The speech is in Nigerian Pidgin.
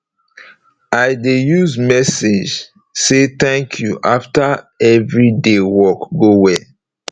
i dey use message say thanku afta every day work go well